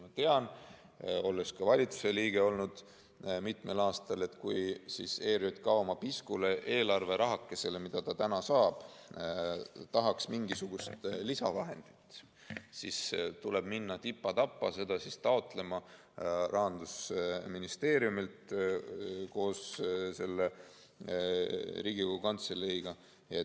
Ma tean, olles olnud ka valitsuse liige mitmel aastal, et kui ERJK oma piskule eelarverahakesele, mida ta saab, tahaks juurde mingisuguseid lisavahendid, siis tuleks tal minna tipa-tapa seda taotlema Rahandusministeeriumilt koos Riigikogu Kantseleiga.